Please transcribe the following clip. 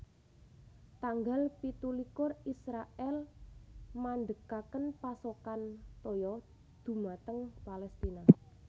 Tanggal pitu likur Israèl mandhegaken pasokan toya dhumateng Palestina